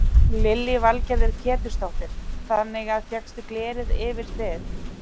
Lillý Valgerður Pétursdóttir: Þannig að fékkstu glerið yfir þið?